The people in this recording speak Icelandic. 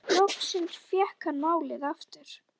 Loksins fékk hann málið aftur.